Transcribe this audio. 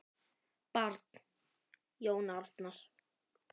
Barn: Jón Arnar.